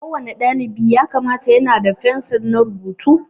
Ko wani dalibi ya kamata yana da fensir na rubutu